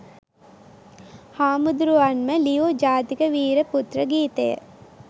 හාමුදුරුවන්ම ලියූ ජාතික වීර පුත්‍ර ගීතය